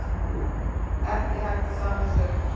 Ekki hægt að sanna sök